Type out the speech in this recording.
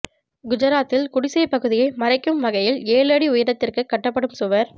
குஜராத்தில் குடிசைப் பகுதியை மறைக்கும் வகையில் ஏழு அடி உயரத்துக்கு கட்டப்படும் சுவர்